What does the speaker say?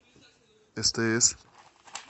стс